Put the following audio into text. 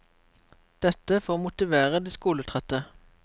Dette for å motivere de skoletrette.